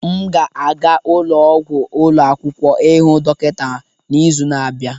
M ga-aga ụlọ ọgwụ ụlọ akwụkwọ ịhụ dọkịta n'izu na-abịa.